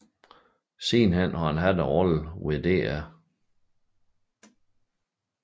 Han har siden haft roller ved Dr